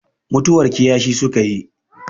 mutuwar kiyashi suka yi